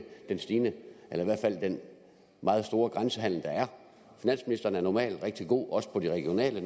den meget store grænsehandel der er finansministeren er normalt rigtig god også på det regionale